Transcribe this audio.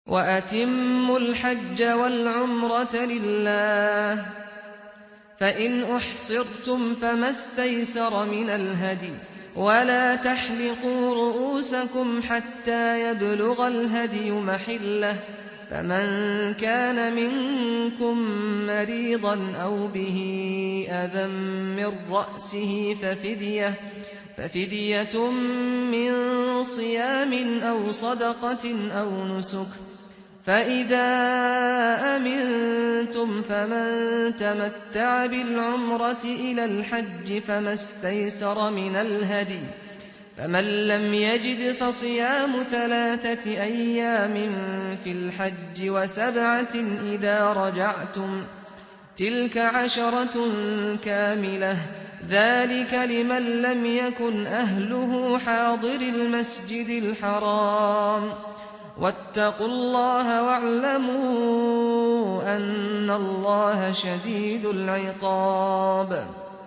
وَأَتِمُّوا الْحَجَّ وَالْعُمْرَةَ لِلَّهِ ۚ فَإِنْ أُحْصِرْتُمْ فَمَا اسْتَيْسَرَ مِنَ الْهَدْيِ ۖ وَلَا تَحْلِقُوا رُءُوسَكُمْ حَتَّىٰ يَبْلُغَ الْهَدْيُ مَحِلَّهُ ۚ فَمَن كَانَ مِنكُم مَّرِيضًا أَوْ بِهِ أَذًى مِّن رَّأْسِهِ فَفِدْيَةٌ مِّن صِيَامٍ أَوْ صَدَقَةٍ أَوْ نُسُكٍ ۚ فَإِذَا أَمِنتُمْ فَمَن تَمَتَّعَ بِالْعُمْرَةِ إِلَى الْحَجِّ فَمَا اسْتَيْسَرَ مِنَ الْهَدْيِ ۚ فَمَن لَّمْ يَجِدْ فَصِيَامُ ثَلَاثَةِ أَيَّامٍ فِي الْحَجِّ وَسَبْعَةٍ إِذَا رَجَعْتُمْ ۗ تِلْكَ عَشَرَةٌ كَامِلَةٌ ۗ ذَٰلِكَ لِمَن لَّمْ يَكُنْ أَهْلُهُ حَاضِرِي الْمَسْجِدِ الْحَرَامِ ۚ وَاتَّقُوا اللَّهَ وَاعْلَمُوا أَنَّ اللَّهَ شَدِيدُ الْعِقَابِ